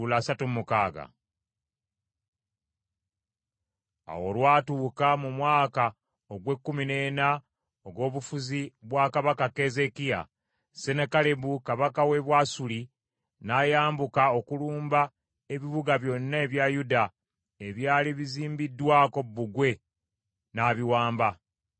Awo olwatuuka, mu mwaka ogw’ekkumi n’ena ogw’obufuzi bwa kabaka Keezeekiya, Sennakeribu kabaka w’e Bwasuli n’ayambuka okulumba ebibuga byonna ebya Yuda ebyali bizimbiddwako bbugwe n’abiwamba.